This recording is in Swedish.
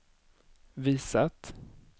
visat